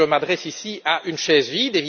Je m'adresse ici à une chaise vide.